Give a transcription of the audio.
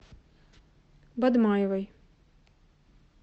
бадмаевой